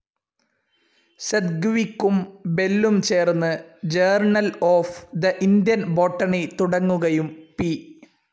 സെദ്‌ഗ്‌വിക്കും ബെല്ലും ചേർന്ന് journal of the Indian botany തുടങ്ങുകയും പി.